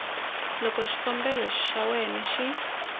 loko xikombelo xa wena xi